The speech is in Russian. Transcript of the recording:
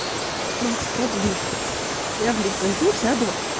макс продли я в лифт зайду сяду